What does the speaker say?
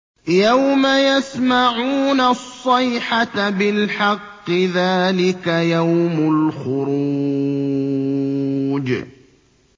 يَوْمَ يَسْمَعُونَ الصَّيْحَةَ بِالْحَقِّ ۚ ذَٰلِكَ يَوْمُ الْخُرُوجِ